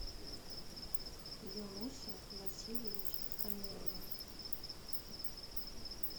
юнусе васильевиче амирове